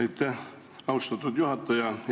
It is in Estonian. Aitäh, austatud juhataja!